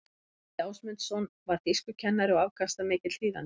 gísli ásmundsson var þýskukennari og afkastamikill þýðandi